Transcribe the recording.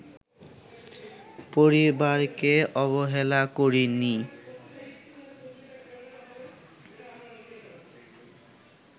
পরিবারকে অবহেলা করিনি